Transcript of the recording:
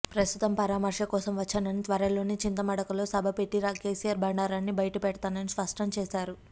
ప్రస్తుతం పరామర్శ కోసం వచ్చానని త్వరలోనే చింతమడకలో సభ పెట్టి కేసీఆర్ బండారాన్ని బయటపెడతానని స్పష్టం చేశారు